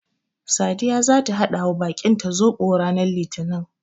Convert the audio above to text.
Sadiya zata haɗawa baƙinta Zoɓo ranar litinin.